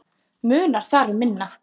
Munar þar um minna.